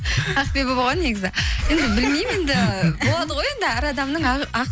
ақбибі болған негізі енді білмеймін енді болады ғой енді әр адамның